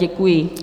Děkuji.